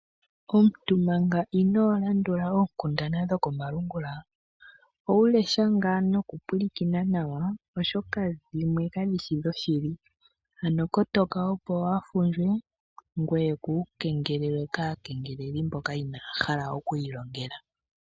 Omuntu manga inoo landula oonkundana dhoko malungula, owu lesha ngaa nawa nokupulakena nawa, oshoka dhimwe kashishi dhoshili, ano kotoka opo waafundjwe ngoye kuukengelelwe kaakengeleli mboka inaaya hala okwiilongela.